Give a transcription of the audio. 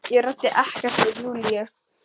Ég ræddi ekkert við Júlíu.